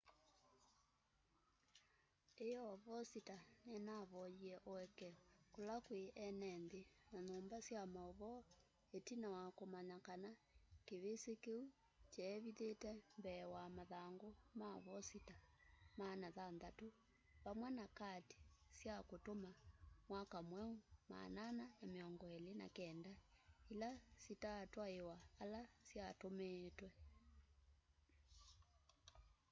ĩoo vosita nĩnavoie ũekeo kũla kwĩ enenthĩ na nyumba sya maũvoo ĩtina wa kũmanya kana kĩvĩsĩ kĩu kyavithĩte mbee wa mathangũ ma vosita 600 vamwe na kati sya ũtũma mwaka mweũ 429 ila sitatwaĩwa ala syatũmĩĩtwe